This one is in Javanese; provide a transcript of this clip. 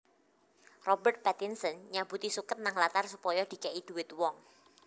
Robert Pattinson nyabuti suket nang latar supaya dike'i dhuwit wong